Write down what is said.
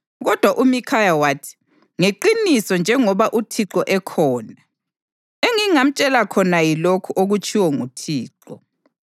Kodwa uMikhaya wathi, “Ngeqiniso njengoba uThixo ekhona, engingamtshela khona yilokhu okutshiwo nguThixo.”